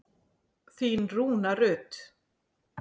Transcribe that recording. Þín Rúna Rut.